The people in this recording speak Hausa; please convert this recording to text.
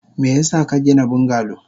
Meyasa kagina bungalow?